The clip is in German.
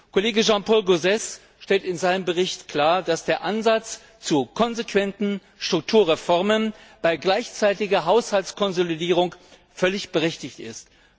Kollege Jean Paul Gauzès stellt in seinem Bericht klar, dass der Ansatz zu konsequenten Strukturreformen bei gleichzeitiger Haushaltskonsolidierung völlig berechtigt ist.